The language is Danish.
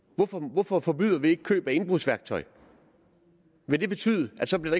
hvorfor forbyder vi ikke køb af indbrudsværktøj ville det betyde at så blev